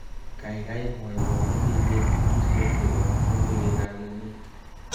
Kaikai mwowo metewek ingircho chebo logoiwekab emet